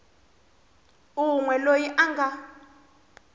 un we loyi a nga